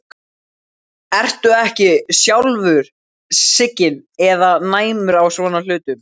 Ertu ekki sjálfur skyggn eða næmur á svona hluti?